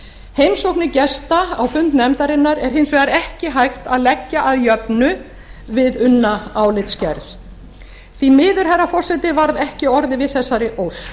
heimsóknir gesta á fund nefndarinnar er hins vegar ekki hægt að leggja að jöfnu við unna álitsgerð því miður herra forseti var ekki orðið við þessari ósk og